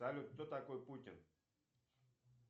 салют кто такой путин